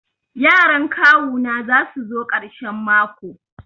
Yaran kawu na za su zo karshen mako.